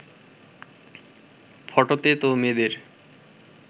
ফটোতে তো মেয়েদের